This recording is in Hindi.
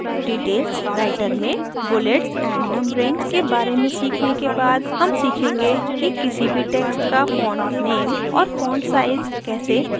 writer में bullets and numbering के बारे में सीखने के बाद हम खीखेंगे कि किसी भी text का font name और font size कैसे बदलें या लागू करें